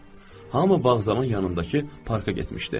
Hamı bağzavan yanındakı parka getmişdi.